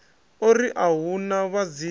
ori a hu na vhadzimu